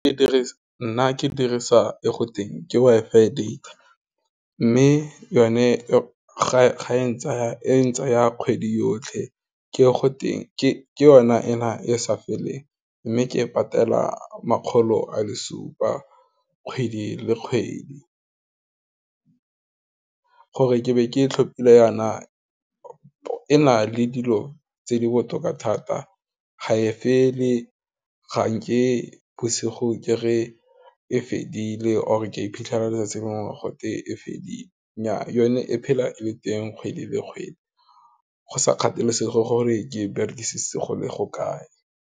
Nna ke dirisa e go teng ke WI-FI data, mme yone ga e tsaya e ntsaya kgwedi yotlhe, ke yona ena e sa feleng, mme ke patela makgolo a le supa kgwedi le kgwedi, gore ke be ke tlhopile yana e na le dilo tse di botoka thata, ga e fa le, ga nke bosigo ke re fedile, or ke iphitlhela letsatsi lengwe gote e fedile, nnyaa yone e phela e le teng kgwedi le kgwedi, go sa kgathalesege gore ke e berekise go le go kae.